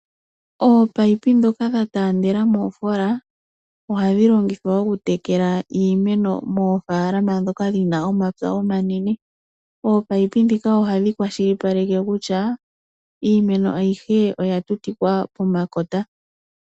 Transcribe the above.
Oopayipi dhoka dha taandela moofoola ohadhi longithwa oku tekela iimeno moofaalama dhoka dhina omapya omanene. Oopayipi dhika ohadhi kwashilipaleke kutya iimeno ayihe oya tutikwa po makota.